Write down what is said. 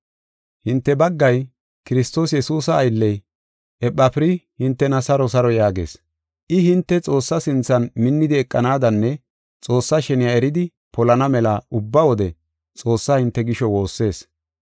Hinte baggay, Kiristoos Yesuusa aylley, Ephafiri hintena saro saro yaagees. I hinte Xoossaa sinthan minnidi eqanaadanne Xoossaa sheniya eridi polana mela ubba wode Xoossaa hinte gisho woossees.